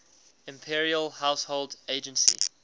imperial household agency